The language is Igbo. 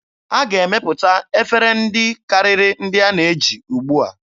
A ga-emepụta efere ndị karịrị ndị a na-eji ugbua.